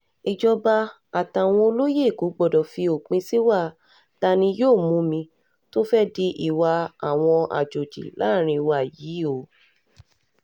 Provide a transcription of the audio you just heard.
um ìjọba àtàwọn olóye èkó gbọdọ̀ fi òpin sí ìwà ta-ni-yóò-mù-mí tó fẹ́ẹ̀ di ìwà àwọn àjọjì láàrin wa yìí um o